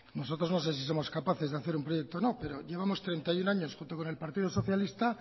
nosotros no sé si somos capaces de hacer un proyecto o no pero llevamos treinta y uno años junto con el partido socialista